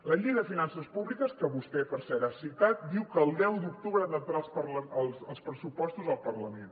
la llei de finances públiques que vostè per cert ha citat diu que el deu d’octubre han d’entrar els pressupostos al parlament